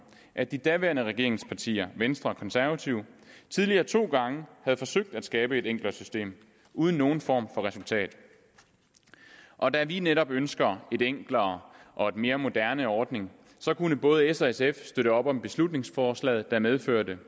at de daværende regeringspartier venstre og konservative tidligere to gange havde forsøgt at skabe et enklere system uden nogen form for resultat og da vi netop ønsker en enklere og mere moderne ordning kunne både s og sf støtte op om beslutningsforslaget der medførte